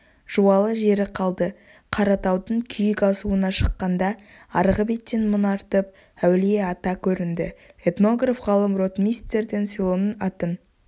жуалы жері қалды қаратаудың күйік асуына шыққанда арғы беттен мұнартып әулие-ата көрінді этнограф-ғалым ротмистрден селоның атын